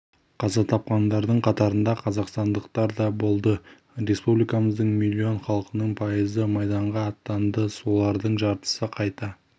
қаза тапқандардың қатарында қазақстандықтар да болды республикамыздың миллион халқының пайызы майданға аттанды олардың жартысы қайта